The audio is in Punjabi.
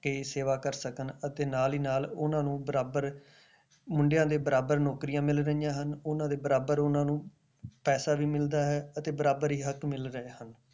ਕੇ ਸੇਵਾ ਕਰ ਸਕਣ ਅਤੇ ਨਾਲ ਹੀ ਨਾਲ ਉਹਨਾਂ ਨੂੰ ਬਰਾਬਰ, ਮੁੰਡਿਆਂ ਦੇ ਬਰਾਬਰ ਨੌਕਰੀਆਂ ਮਿਲ ਰਹੀਆਂ ਹਨ, ਉਹਨਾਂ ਦੇ ਬਰਾਬਰ ਉਹਨਾਂ ਨੂੰ ਪੈਸਾ ਵੀ ਮਿਲਦਾ ਹੈ ਤੇ ਬਰਾਬਰ ਹੀ ਹੱਕ ਮਿਲ ਰਹੇ ਹਨ।